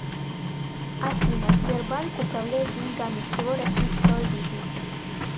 афина сбербанк управляет деньгами всего российского бизнеса